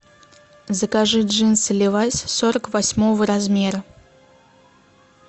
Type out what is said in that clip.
закажи джинсы левайс сорок восьмого размера